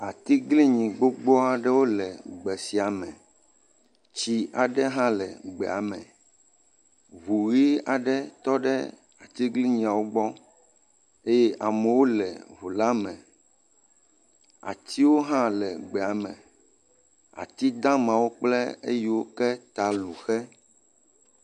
Atiglinyi gbogbo aɖewo le gbe sia me, tsi aɖe hã le gbea me, ŋu ʋi aɖe tɔ ɖe atiglinyiawo gbɔ eye amewo le ŋu la me. Atiwo hã le gbea me, ati damawo kjple eyiwo ƒe ta lu xɛ.